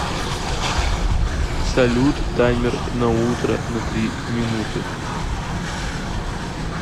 салют таймер на утро на три минуты